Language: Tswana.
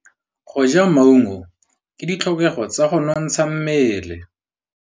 Go ja maungo ke ditlhokegô tsa go nontsha mmele.